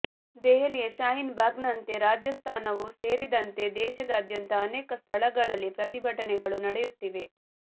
ದೆಹಲಿಯ ಶಾಹೀನ್ ಬಾಗ್ನಂತೆ ರಾಜಸ್ಥಾನವೂ ಸೇರಿದಂತೆ ದೇಶಾದ್ಯಂತ ಅನೇಕ ಸ್ಥಳಗಳಲ್ಲಿ ಪ್ರತಿಭಟನೆಗಳು ನಡೆಯುತ್ತಿವೆ